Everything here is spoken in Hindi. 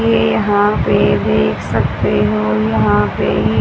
ये यहां पर देख सकते हो यहां पे--